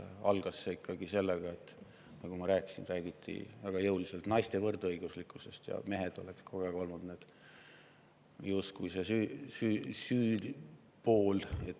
Algas see ikkagi sellega, nagu ma rääkisin, et räägiti väga jõuliselt naiste võrdõiguslikkusest ja mehed olid kogu aeg justkui see süüpool.